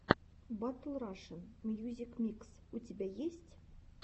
батл рашен мьюзик микс у тебя есть